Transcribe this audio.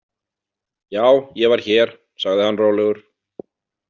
Já, ég var hér, sagði hann rólegur.